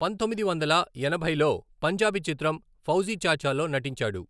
పంతొమ్మిది వందల ఎనభైలో పంజాబీ చిత్రం ఫౌజీ చాచాలో నటించాడు.